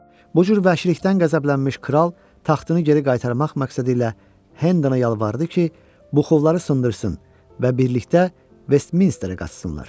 Bu cür vəhşilikdən qəzəblənmiş kral taxtını geri qaytarmaq məqsədi ilə Hendana yalvardı ki, buxovları sındırsın və birlikdə Vestminsterə qaçsınlar.